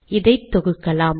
இதை தொகுக்கலாம்